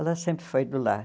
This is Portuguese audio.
Ela sempre foi do lar.